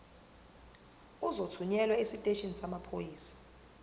uzothunyelwa esiteshini samaphoyisa